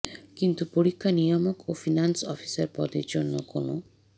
কিন্তু পরীক্ষা নিয়ামক ও ফিনান্স অফিসার পদের জন্য কোনও